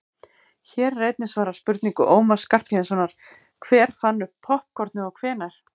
hér er einnig svarað spurningu ómars skarphéðinssonar „hver fann upp poppkornið og hvenær“